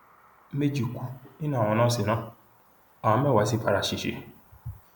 méjì kú nínú àwọn nọọsì náà àwọn mẹwàá sì fara ṣẹṣẹ